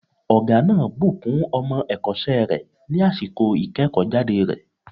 Ọ̀gá náà bùkún ọmọ èkósẹ́ rẹ̀ ní àsìkò ìkéèkó jáde rẹ̀